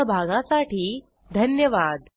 सहभागासाठी धन्यवाद